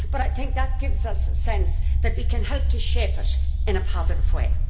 I think that gives us a sense that we can help to shape it in a positive way.